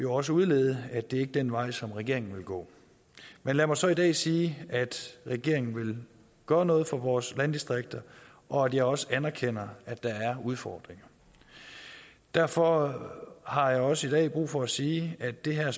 også udlede at det ikke er den vej som regeringen vil gå men lad mig så i dag sige at regeringen vil gøre noget for vores landdistrikter og at jeg også anerkender at der er udfordringer derfor har jeg også i dag brug for at sige at det her